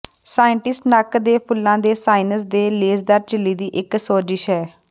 ਸਾਈਨਾਸਾਈਟਸ ਨੱਕ ਦੇ ਫੁੱਲਾਂ ਦੇ ਸਾਈਨਸ ਦੇ ਲੇਸਦਾਰ ਝਿੱਲੀ ਦੀ ਇੱਕ ਸੋਜਸ਼ ਹੈ